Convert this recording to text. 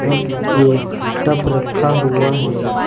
एक टब रखा हुआ है।